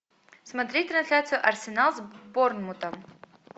смотреть трансляцию арсенал с борнмутом